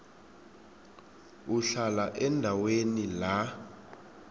uhlala endaweni la